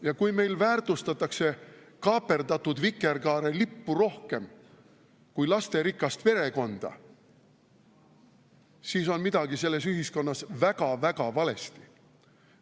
Ja kui meil väärtustatakse kaaperdatud vikerkaarelippu rohkem kui lasterikast perekonda, siis on midagi selles ühiskonnas väga-väga valesti.